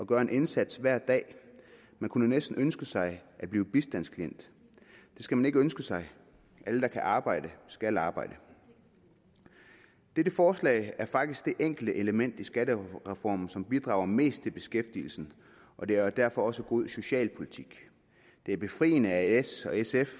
gør en indsats hver dag man kunne næsten ønske sig at blive bistandsklient det skal man ikke ønske sig alle der kan arbejde skal arbejde dette forslag er faktisk det enkeltelement i skattereformen som bidrager mest til beskæftigelsen og det er derfor også god socialpolitik det er befriende at s og sf